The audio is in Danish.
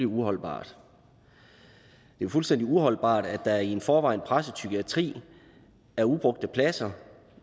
uholdbart det er fuldstændig uholdbart at der i en i forvejen presset psykiatri er ubrugte pladser